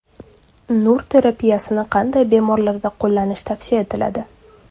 Nur terapiyasini qanday bemorlarda qo‘llanish tavsiya etiladi?